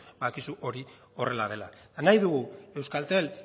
dakizu hori horrela dela eta nahi dugu euskaltel